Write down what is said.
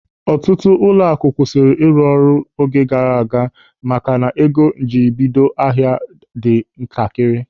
Ọtụtụ ụlọaku kwụsịrị ịrụ ọrụ oge gaara aga maka na ego njiribido ahịa ha dị ntakịrị.